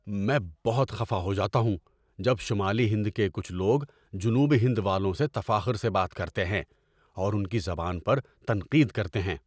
میں بہت خفا ہو جاتا ہوں جب شمالی ہند کے کچھ لوگ جنوبی ہند والوں سے تفاخر سے بات کرتے ہیں اور ان کی زبان پر تنقید کرتے ہیں۔